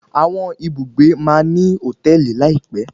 Àwọn ibùgbé máa ní hòtẹ́ẹ̀lì láìpẹ́.